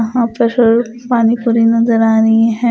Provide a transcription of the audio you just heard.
वहाँ पहर पानी पूरी नजर आ री है।